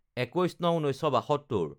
২১/০৯/১৯৭২